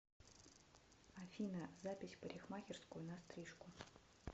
афина запись в парикмахерскую на стрижку